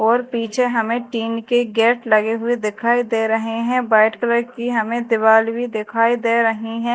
और पीछे हमें टीन के गेट लगे हुए दिखाई दे रहे हैं व्हाइट कलर की हमें दीवाल भी दिखाई दे रही हैं।